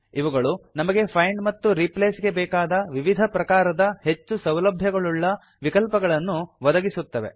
ಇವುಗಳು ನಮಗೆ ಫೈಂಡ್ ಮತ್ತು ರೀಪ್ಲೇಸ್ ಗೆ ಬೇಕಾದ ವಿವಿಧ ಪ್ರಕಾರದ ಹೆಚ್ಚು ಸೌಲಭ್ಯಗಳುಳ್ಳ ವಿಕಲ್ಪಗಳನ್ನು ಒದಗಿಸುತ್ತವೆ